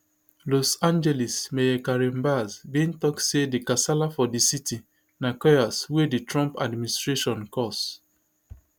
los angeles mayor karen bass bin tok say di kasala for di city na chaos wey di trump administration cause